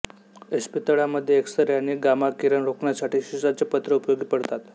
इस्पितळामध्ये X ray आणि गामाकिरण रोखण्यासाठी शिसाचे पत्रे उपयोगी पडतात